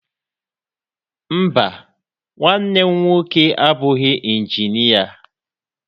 Mba, nwanne m nwoke abụghị injinịa.